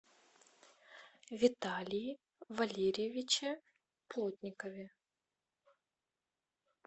виталии валерьевиче плотникове